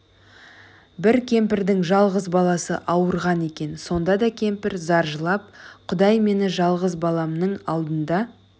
бір кемпірдің жалғыз баласы ауырған екен сонда кемпір зар жылап құдай мені жалғыз баламның алдында